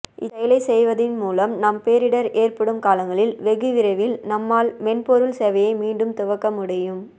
இச்செயலை செய்வதின் மூலம் நாம் பேரிடர் ஏற்படும் காலங்களிலும் வெகு விரைவில் நம்மால் மென்பொருள் சேவையை மீண்டும் துவக்க முடியும்